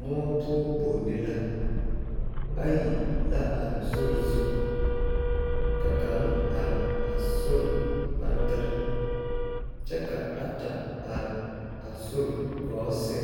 Muo poɔ boŋne la ayi la are sori zu ka kaŋa are a sori kpantere kyɛ ka ata are a sori gɔɔ sɛŋ